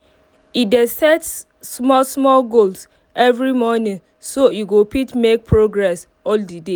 e dey set small small goals every morning so e go fit make progress all the day